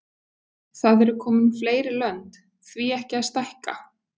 Það eru komin fleiri lönd, því ekki að stækka?